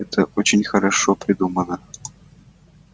это очень хорошо придумано